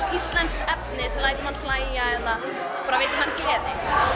íslenskt efni sem lætur mann hlæja eða bara veita meiri gleði